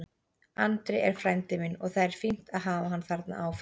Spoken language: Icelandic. Andri er frændi minn og það er fínt að hafa hann þarna áfram.